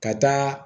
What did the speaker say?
Ka taa